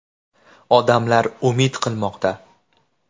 Odamlar umid qilmoqda.